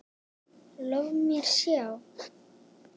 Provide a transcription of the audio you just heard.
Lof mér sjá